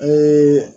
An ye